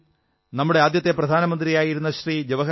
ആദ്യം നമ്മുടെ ആദ്യത്തെ പ്രധാനമന്ത്രി ശ്രീ